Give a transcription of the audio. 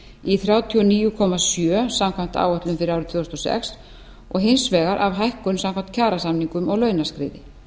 í þrjátíu og níu komma sjö samkvæmt áætlun fyrir árið tvö þúsund og sex og hins vegar af hækkun samkvæmt kjarasamningum og launaskriði